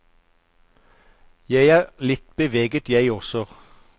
Jeg er litt beveget jeg også.